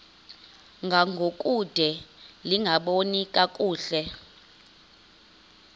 ngangokude lingaboni kakuhle